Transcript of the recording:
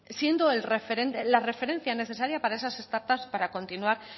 siendo la referencia necesaria para esas startup para continuar